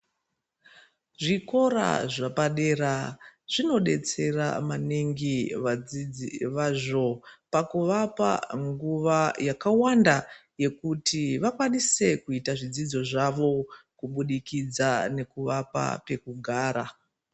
Zvikora zvaapdera zvinodetsera maningi vadzidzi vazvo pakuvapa nguva yakawanda yekuti vakwanise kuita zvidzidzo zvavo kubudikidza nekuvapa pekugara.